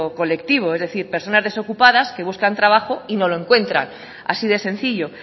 colectivo e decir personas desocupadas que buscan trabajo y no lo encuentran así de sencillo